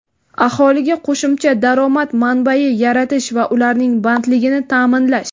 aholiga qo‘shimcha daromad manbai yaratish va ularning bandligini taʼminlash.